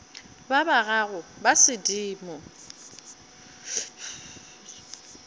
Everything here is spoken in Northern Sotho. ba ba gago ba sedimo